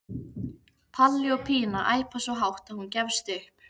Palli og Pína æpa svo hátt að hún gefst upp.